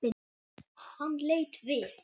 Hann leit við.